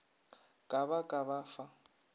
ka ba ka ba fa